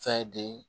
Fɛn de ye